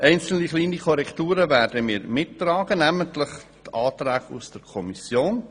Einzelne kleine Korrekturen werden wir mittragen, namentlich die Anträge aus der Kommission.